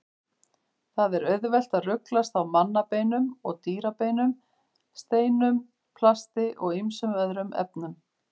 Það er auðvelt að ruglast á mannabeinum og dýrabeinum, steinum, plasti og ýmsum öðrum efnum.